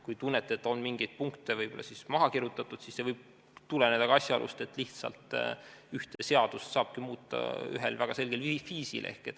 Kui te tunnete, et mingeid punkte on võib-olla maha kirjutatud, siis see võib tuleneda ka asjaolust, et ühte seadust saabki muuta ühel väga selgel viisil.